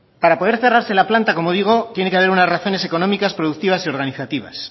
para poder cerrarse la planta como digo tiene que haber unas razones económicas productivas y organizativas